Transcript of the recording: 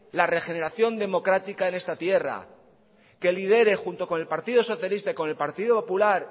la regeneración democrática en esta tierra que lidere junto con el partido socialista y con el partido popular